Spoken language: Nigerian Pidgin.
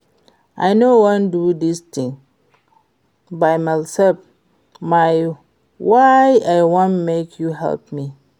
I no wan do dis thing by myself na why I wan make you help me